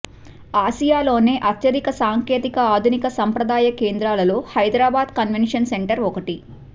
ఆసియాలోనే అత్యధిక సాంకేతిక ఆధునిక సంప్రదాయ కేంద్రాలలో హైదరాబాద్ కన్వెషన్ సెంటర్ ఒకటి